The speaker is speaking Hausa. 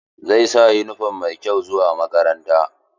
Zai sa yunifom mai kyau zuwa makaranta.